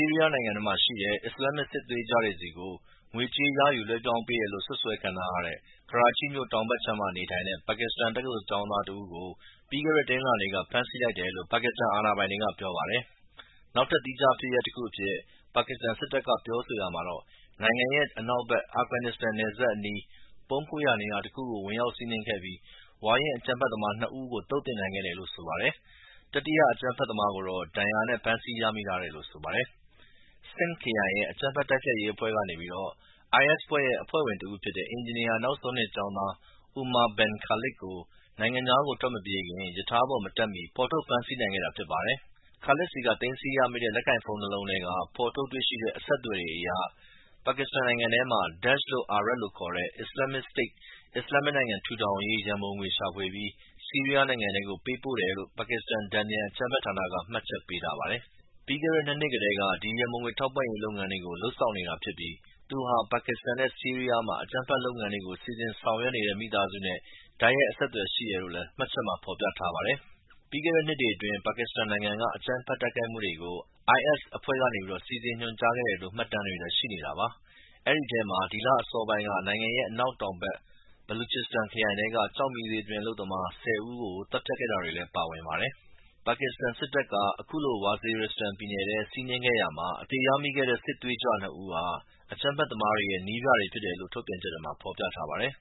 ီးရီးယားနိုင်ငံထဲမှာရှိတဲ့ အစ္စလာမစ်စစ်သွေးကြွတွေ ဆီကို ငွေကြေး ကောက်ခံလွှဲပြောင်းပေးတယ်လို့စွပ်စွဲခံထားရတဲ့ ကရာချိမြို့တောင်ဘက်ခြမ်းက ပါကစ္စတန် တက္ကသိုလ်ကျောင်းသားတယောက်ကို ပြီးခဲ့တဲ့ တနင်္လာနေ့က ဖမ်းဆီးလိုက်တယ်လို့ ပါကစ္စတန်အာဏာပိုင်တွေက ပြောပါတယ်။ နောက်ထပ် သီးခြားဖြစ်ရပ်တခုအဖြစ် ပါကစ္စတန် စစ်တပ်ကပြောဆိုရာမှာတော့ နိုင်ငံရဲ့ အနောက်ဘက် အာဖဂန်နစ္စတန်နယ်စပ်အနီး ပုန်းခိုရာနေရာတခုကို ဝင်ရောက်စီးနင်းခဲ့ပြီး ဝါရင့်အကြမ်းဖက်သမား ၂ ဦးကို သုတ်သင်နိုင်ခဲ့တယ်လို့ဆိုပါတယ်။ တတိယ အကြမ်းဖက်သမားကိုတော့ ဒဏ်ရာနဲ့ဖမ်းဆီးရမိထားတယ်လို့ဆိုပါတယ်။ Sindh ခရိုင်ရဲ့ တန်ပြန်အကြမ်းဖက်တိုက်ဖျက်ရေးအဖွဲ့ကနေပြီး IS ဖွဲ့ရဲ့ဝင်တဦးဖြစ်တဲ့ အင်ဂျင်နီယာနောက်ဆုံးနှစ်ကျောင်းသား Umar Bin Khalid ကို နိုင်ငံခြားကိုထွက်မပြေးခင် ရထားပေါ်မတက်မီ ဖော်ထုတ်ဖမ်းဆီးနိုင်ခဲ့တာဖြစ်ပါတယ်။ Khalid ဆီက သိမ်းဆည်းရမိတဲ့ လက်ကိုင်ဖုန်းနှစ်လုံးထဲက ဖော်ထုတ်တွေ့ရှိတဲ့ အဆက်အသွယ်တွေအရ ကစ္စတန်နိုင်ငံထဲမှာ Daesh လို့အာရပ်လို ခေါ်ဆိုတဲ့ Islamic State အစ္စလာမ်မစ်နိုင်ငံထူထောင်ရေး ရန်ပုံငွေရှာဖွေပြီး ဆီးရီးယားနိုင်ငံထဲကို ပေးပို့ပေးတယ်လို့ပါကစ္စတန် တန်ပြန်အကြမ်းဖက်ဌာနက မှတ်ချက်ပေးထားပါတယ်။ ပြီးခဲ့တဲ့ ၂ နှစ်ကတည်းက ဒီ ရန်ပုံငွေထောက်ပံ့ရေးလုပ်ငန်းတွေကို လုပ်ဆောင်နေတာဖြစ်ပြီး သူဟာ ပါကစ္စတန်နဲ့ဆီးရီးယားမှာ အကြမ်းဖက်လုပ်ငန်းတွေကို စီစဉ်ဆောင်ရွက်တဲ့ မိသားစုနဲ့တိုက်ရိုက်အဆက်အသွယ်ရှိတယ်လို့လမ်း မှတ်ချက်မှာ ဖော်ပြထားပါတယ်။ ပြီးခဲ့တဲ့နှစ်တွေအတွင်း ပါကစ္စတန်နိုင်ငံက အကြမ်းဖက်တိုက်ခိုက်မှုတွေကို IS အဖွဲ့ကနေ စီစဉ်ညွှန်ကြားခဲ့တယ်လို့မှတ်တမ်းတွေလည်းရှိနေတာပါ။ အဲဒီထဲမှာ ဒီလအစောပိုင်းက နိုင်ငံရဲ့ အနောက်တောင်ဘက် Baluchistan ခရိုင်ထဲ ကျောက်မီးသွေးတွင်း အလုပ်သမား ၁၀ ဦးကို သတ်ဖြတ်တာတွေလည်း ပါဝင်ပါတယ်။ ပါကစ္စတန်စစ်တပ်က တောင်ပိုင်း Waziristan ပြည်နယ် နယ်စပ်ဒေသတခုကို စီးနင်းရာမှာ စစ်သွေးကြွနှစ်ဦးကို အသေရမိပြီး ၎င်းတို့ဟာ အကြမ်းဖက်သမားတွေရဲ့ နည်းပြတွေလို့ ထုတ်ပြန်ချက်ထဲမှာဖော်ပြထားပါတယ်။